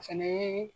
O fɛnɛ ye